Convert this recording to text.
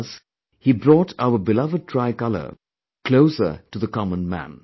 Thus, he brought our beloved tricolor closer to the commonman